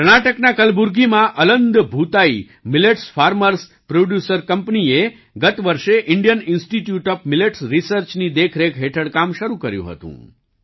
કર્ણાટકના કલબુર્ગીમાં Aland Bhutai millets farmers producer company એ ગત વર્ષે Indian institute of millets research ની દેખરેખ હેઠળ કામ શરૂ કર્યું હતું